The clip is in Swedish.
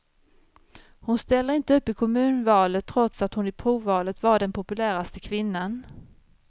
Hon ställer inte upp i kommunalvalet trots att hon i provvalet var den populäraste kvinnan.